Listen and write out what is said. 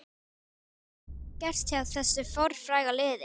Hvað hefur gerst hjá þessu fornfræga liði?